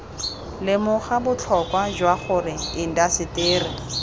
lemoga botlhokwa jwa gore indaseteri